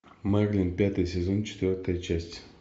мерлин пятый сезон четвертая часть